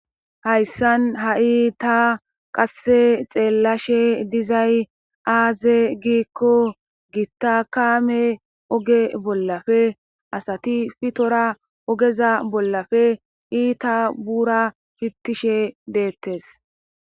Hayssan ha'i ta qasse xeellashe dizay aaze giikko gittakame oge bollafe asati fitora ogeza bollafe iita buura pittishe deettes.